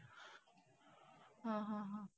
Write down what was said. हा हा हा.